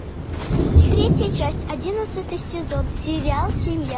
третья часть одиннадцатый сезон сериал семья